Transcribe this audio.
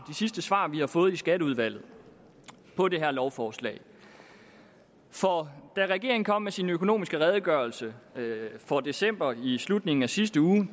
sidste svar vi har fået i skatteudvalget på det her lovforslag for da regeringen kom med sin økonomiske redegørelse for december i slutningen af sidste uge